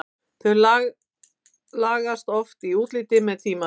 Þau lagast oft í útliti með tímanum.